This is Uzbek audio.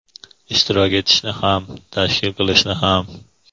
Ishtirok etishni ham, tashkil qilishni ham.